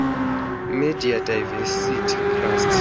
media diversity trust